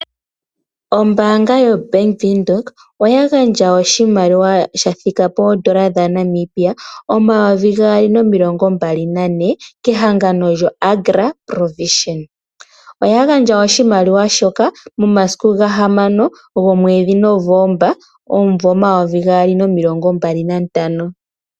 Ombaanga yaBank Windhoek oya gandja oshimaliwa shathika po N$224 000 kehangano lyoAgra Provision. Oya gandja oshimaliwa shoka momasiku 6 Novemba 2025.